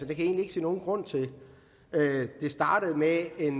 jeg egentlig ikke se nogen grund til det startede med en